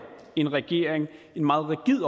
en regering en meget rigid